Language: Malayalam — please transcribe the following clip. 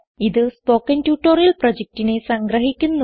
ഇതു സ്പോകെൻ ട്യൂട്ടോറിയൽ പ്രൊജക്റ്റിനെ സംഗ്രഹിക്കുന്നു